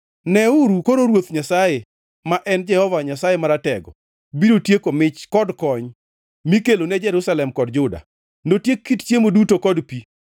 Neuru koro Ruoth Nyasaye, ma en Jehova Nyasaye Maratego, biro tieko mich kod kony mikelo ne Jerusalem kod Juda. Notiek kit chiemo duto kod pi